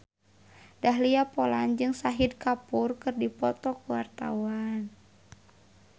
Dahlia Poland jeung Shahid Kapoor keur dipoto ku wartawan